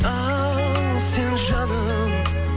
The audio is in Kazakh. ал сен жаным